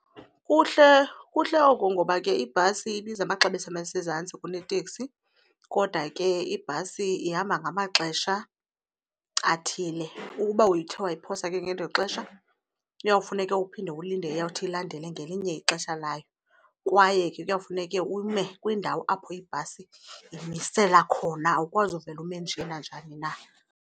Kuhle kuhle oku ngoba ke ibhasi ibiza amaxabiso asezantsi kuneteksi kodwa ke ibhasi ihamba ngamaxesha athile. Ukuba uthe wayiphosa ke ngelo xesha kuyawufuneka uphinde ulinde eyawuthi ilandele ngelinye ixesha layo kwaye ke kuyawufuneke ume kwindawo apho ibhasi imisela khona, awukwazi uvele ume nje nanjani na.